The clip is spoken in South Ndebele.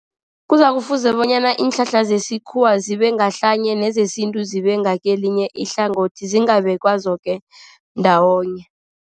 Kuzakufuze bonyana iinhlahla zesikhuwa zibe ngahlanye, nezesintu zibe ngakelinye ihlangothi zingabekwa zoke ndawonye.